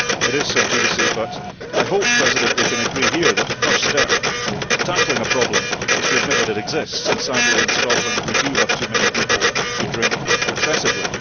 So it is sub judice but I hope that we can agree here that the first step to tackling a problem is to admit that it exists. Sadly in Scotland we do have too many people who drink excessively.